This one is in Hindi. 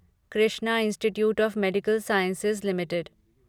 Krishna institute of medical sciences limited